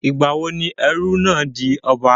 Ìgbà wo ni ẹrú náà di ọba?